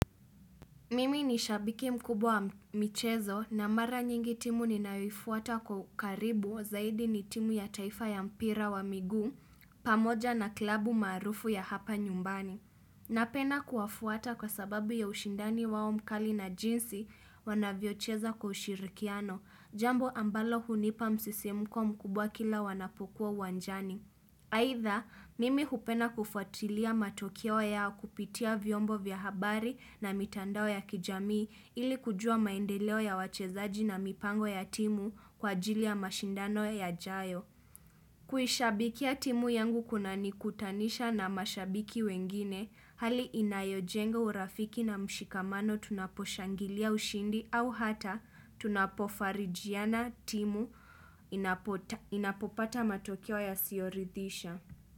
Mimi ni shabiki mkubwa wa michezo na mara nyingi timu ninayoifuata kwa ukaribu zaidi ni timu ya taifa ya mpira wa miguu pamoja na kilabu maarufu ya hapa nyumbani. Napenda kuwafuata kwa sababu ya ushindani wao mkali na jinsi wanavyocheza kwa ushirikiano, jambo ambalo hunipa msisimko mkubwa kila wanapokuwa uwanjani. Aidha, mimi hupenda kufuatilia matokeo yao kupitia vyombo vya habari na mitandao ya kijamii ili kujua maendeleo ya wachezaji na mipango ya timu kwa ajili ya mashindano yajayo. Kuishabikia ya timu yangu kunanikutanisha na mashabiki wengine, hali inayojenga urafiki na mshikamano tunaposhangilia ushindi au hata tunapofarijiana timu inapopata matokeo yasiyoridhisha.